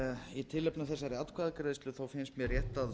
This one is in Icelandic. í tilefni af þessari atkvæðagreiðslu finnst mér rétt að